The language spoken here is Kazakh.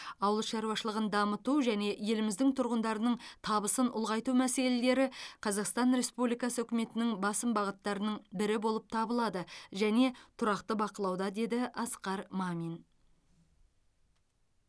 ауыл шаруашылығын дамыту және еліміздің тұрғындарының табысын ұлғайту мәселелері қазақстан республикасы үкіметінің басым бағыттарының бірі болып табылады және тұрақты бақылауда деді асқар мамин